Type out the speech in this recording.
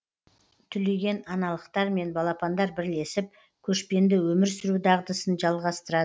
түлеген аналықтармен балапандар бірлесіп көшпенді өмір сүру дағдысын жалғастырады